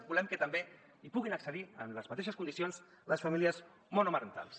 volem que també hi puguin accedir amb les mateixes condicions les famílies monomarentals